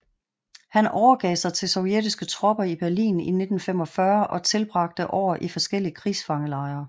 Han overgav sig til sovjetiske tropper i Berlin i 1945 og tilbragte år i forskellige krigsfangelejre